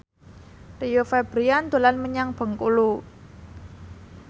Rio Febrian dolan menyang Bengkulu